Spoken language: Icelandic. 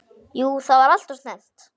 Jú það var alltof snemmt.